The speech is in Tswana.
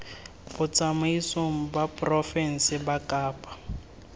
botsamaisng ba porofense ba kapa